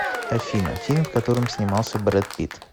афина фильм в котором снимался брэд питт